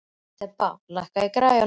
Þeba, lækkaðu í græjunum.